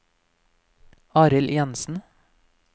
Arild Jensen